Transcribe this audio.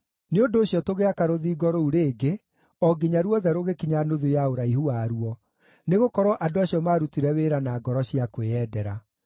Nĩ ũndũ ũcio tũgĩaka rũthingo rũu rĩngĩ o nginya ruothe rũgĩkinya nuthu ya ũraihu waruo, nĩgũkorwo andũ acio maarutire wĩra na ngoro cia kwĩyendera.